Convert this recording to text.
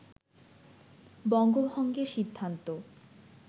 বঙ্গভঙ্গের সিদ্ধান্ত